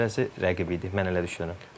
Keçəsi rəqib idi, mən elə düşünürəm.